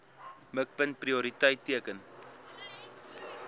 mikpunt prioriteit teiken